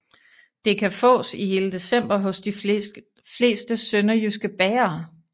Det kan fås i hele december hos de fleste sønderjyske bagere